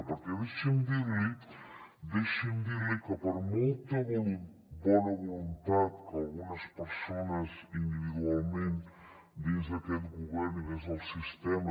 perquè deixi’m dir li deixi’m dir li que per molta bona voluntat que algunes persones individualment dins d’aquest govern i dins del sistema